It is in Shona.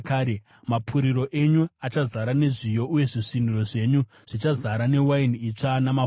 Mapuriro enyu achazara nezviyo, uye zvisviniro zvenyu zvichazara newaini itsva namafuta.